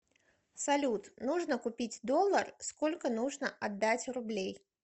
салют нужно купить доллар сколько нужно отдать рублей